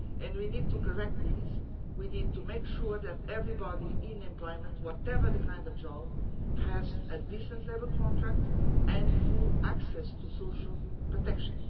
We need to correct this and make sure that everybody in employment, whatever the kind of job they do, has a decent labour contract and full access to social protection.